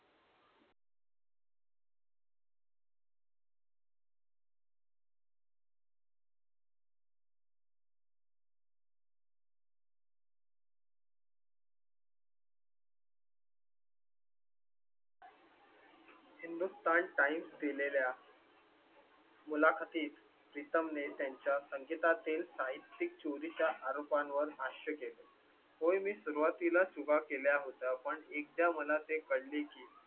Hindustan times दिलेल्या मुलाखतीत प्रीतम ने त्यांच्या संगीता तील साहित्यिक चोरी च्या आरोपां वर भाष्य केले होय. मी सुरुवातीला चुका केल्या होता. पण एकदा मला ते कळले की